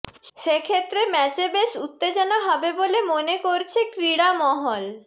সেক্ষেত্রে ম্যাচে বেশ উত্তেজনা হবে বলে মনে করছে ক্রীড়মহল